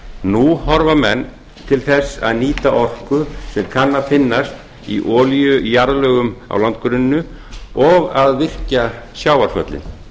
nú horfa menn til þess að nýta orku sem kann að finnast í olíujarðlögum á landgrunninu og að virkja sjávarföllin